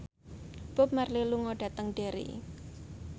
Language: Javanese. Bob Marley lunga dhateng Derry